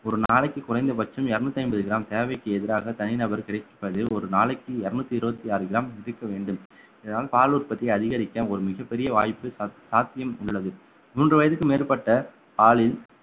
ஒரு நாளைக்கு குறைந்தபட்சம் இருநூற்றி ஐம்பது gram தேவைக்கு எதிராக தனி நபர் கிடைப்பதில் ஒரு நாளைக்கு இருநூத்தி இருபத்தி ஆறு gram எடுக்க வேண்டும் இதனால் பால் உற்பத்தியை அதிகரிக்க ஒரு மிகப் பெரிய வாய்ப்பு சா~ சாத்தியம் உள்ளது மூன்று வயதுக்கு மேற்பட்ட